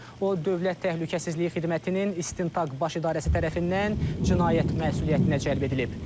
O, dövlət təhlükəsizliyi xidmətinin İstintaq Baş İdarəsi tərəfindən cinayət məsuliyyətinə cəlb edilib.